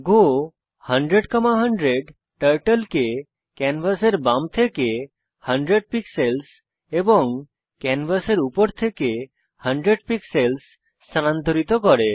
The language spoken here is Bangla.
গো 100100 টার্টল কে ক্যানভাসের বাম থেকে 100 পিক্সেলস এবং ক্যানভাসের উপর থেকে 100 পিক্সেলস স্থানান্তরিত করে